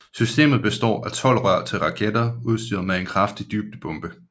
Systemet består af tolv rør til raketter udstyret med en kraftig dybdebombe